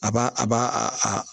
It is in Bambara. A b'a a b'a a